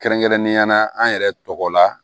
Kɛrɛnkɛrɛnnenya la an yɛrɛ tɔgɔ la